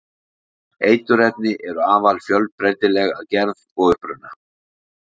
eiturefni eru afar fjölbreytileg að gerð og uppruna